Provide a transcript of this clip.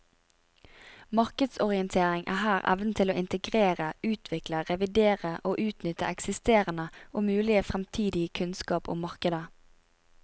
Markedsorientering er her evnen til å integrere, utvikle, revidere og utnytte eksisterende og mulig fremtidig kunnskap om markedet.